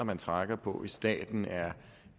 man trækker på i staten er